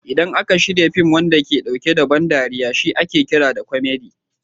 Idan aka shirya fin wanda yake ɗauke da ban dariya shi ake kira da kwamadi (comedy)